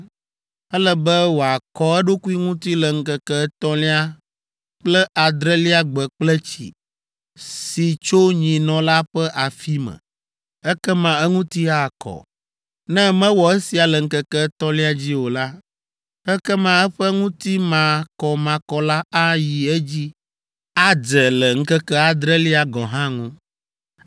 Ele be wòakɔ eɖokui ŋuti le ŋkeke etɔ̃lia kple adrelia gbe kple tsi, si tso nyinɔ la ƒe afi me. Ekema eŋuti akɔ. Ne mewɔ esia le ŋkeke etɔ̃lia dzi o la, ekema eƒe ŋutimakɔmakɔ la ayi edzi adze le ŋkeke adrelia gɔ̃ hã ŋu.